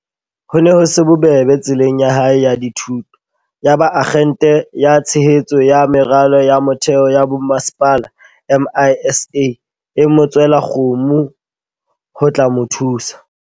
Ho ne ho se bobebe tseleng ya hae ya dithuto. Yaba Akgente ya Tshehetso ya Meralo ya Motheo ya Bomasepala, MISA, e mo tswela kgomo ho tla mo thusa.